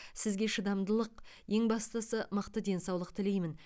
сізге шыдамдылық ең бастысы мықты денсаулық тілеймін